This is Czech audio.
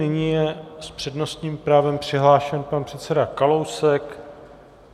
Nyní je s přednostním právem přihlášen pan předseda Kalousek.